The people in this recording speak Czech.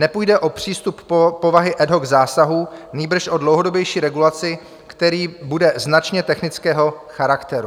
Nepůjde o přístup povahy ad hoc zásahu, nýbrž o dlouhodobější regulaci, která bude značně technického charakteru.